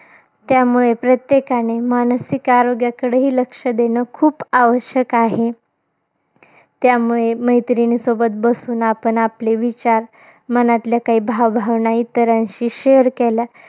त्यामुळे, प्रत्येकाने मानसिक आरोग्याकडेही लक्ष देणं खूप आवश्यक आहे. त्यामुळे मैत्रिणीसोबत बसून आपण आपले विचार, मनातल्या काही भावभावना इतरांशी share केल्या.